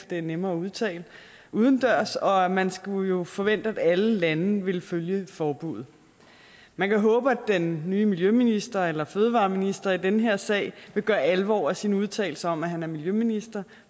det er nemmere at udtale udendørs og man skulle jo forvente at alle lande ville følge forbuddet man kan håbe at den nye miljøminister eller fødevareminister i den her sag vil gøre alvor af sine udtalelser om at han er miljøminister